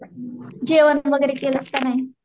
जेवण वगैरे केलंस का नाही?